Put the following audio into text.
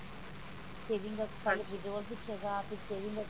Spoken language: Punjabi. saving ਦਾ ਫਿਰ withdraw ਪੁੱਛੇਗਾ ਫਿਰ saving